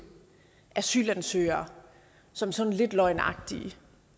asylansøgere som sådan lidt løgnagtige